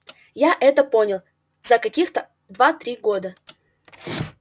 я это понял за каких-то два-три года